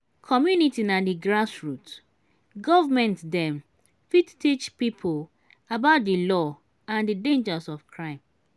commumity na di grass root government dem fit teach pipo about di law and di dangers of crime